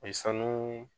O ye sanu